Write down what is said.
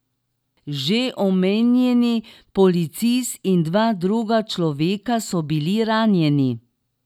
Že omenjeni policist in dva druga človeka so bili ranjeni.